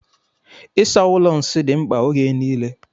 Ịsa ụlọ nsị dị mkpa ógè niile.